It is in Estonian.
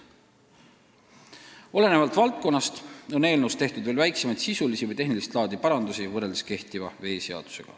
Olenevalt valdkonnast on eelnõus tehtud kehtiva veeseaduse muidki, väiksemaid sisulisi või tehnilist laadi parandusi.